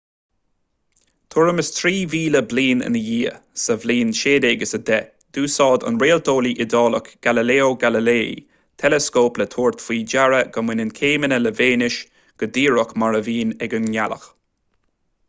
tuairim is trí mhíle bliain ina dhiaidh sa bhliain 1610 d'úsáid an réalteolaí iodálach galileo galilei teileascóp le tabhairt faoi deara go mbaineann céimeanna le véineas go díreach mar a bhíonn ag an ngealach